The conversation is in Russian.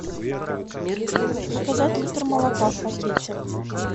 заказать литр молока в пакете